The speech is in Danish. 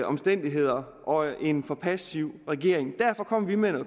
omstændigheder og en for passiv regering derfor kom vi med